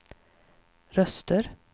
röster